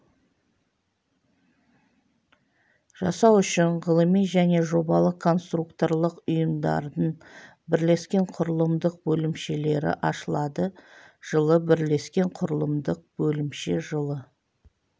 жасау үшін ғылыми және жобалық-конструкторлық ұйымдардың бірлескен құрылымдық бөлімшелері ашылады жылы бірлескен құрылымдық бөлімше жылы